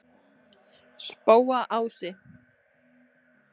Spóaási